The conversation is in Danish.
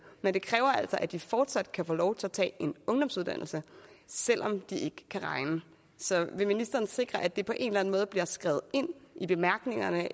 men det kræver altså at de fortsat kan få lov til at tage en ungdomsuddannelse selv om de kan regne så vil ministeren sikre at det på en eller anden måde bliver skrevet ind i bemærkningerne